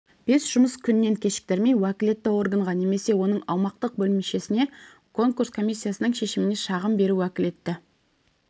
бес жұмыс күннен кешіктірмей уәкілетті органға немесе оның аумақтық бөлімшесіне конкурс комиссиясының шешіміне шағым беру уәкілетті